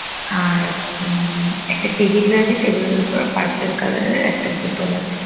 আর একটা টেবিল রয়েছে। টেবিল -এর উপর পারপেল কালার -এর একটা বোতল আছে।